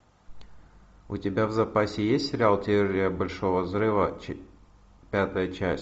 у тебя в запасе есть сериал теория большого взрыва пятая часть